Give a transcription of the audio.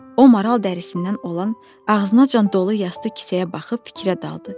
O maral dərisindən olan, ağzınacan dolu yastı kisəyə baxıb fikrə daldı.